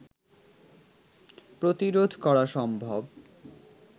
প্রতিরোধ করা সম্ভব